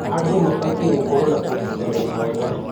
Andũ mabatiĩ gũkorwo na ũnyitanĩri mwega.